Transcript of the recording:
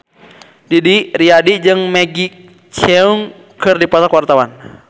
Didi Riyadi jeung Maggie Cheung keur dipoto ku wartawan